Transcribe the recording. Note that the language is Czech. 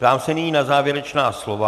Ptám se nyní na závěrečná slova.